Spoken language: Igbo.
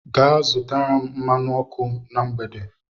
Gaa zụta m mmanụ ọkụ na mgbede.